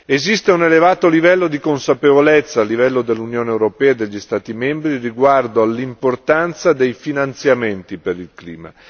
Esiste un elevato grado di consapevolezza a livello dell'Unione europea e degli Stati membri riguardo all'importanza dei finanziamenti per il clima.